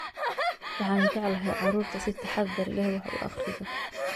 Waxaan jeclahay carruurta si taxadar leh wax u akhrida